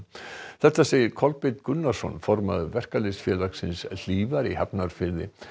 þetta segir Kolbeinn Gunnarsson formaður Verkalýðsfélagsins Hlífar í Hafnarfirði